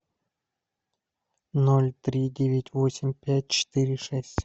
ноль три девять восемь пять четыре шесть